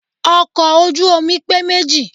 Ọkọ̀ ojú omi pé méjì.